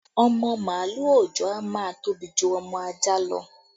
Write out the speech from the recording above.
Ọmọ màálù òòjọ́ a máa tóbi ju ọmọ ajá lọ